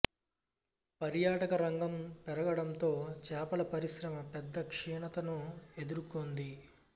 పర్యాటక రంగం పెరగడంతో చేపల పరిశ్రమ పెద్ద క్షీణతను ఎదుర్కొంది